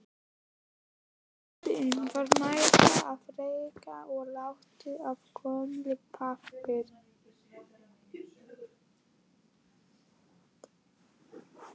Loftið var mettað af ryki og lykt af gömlum pappír.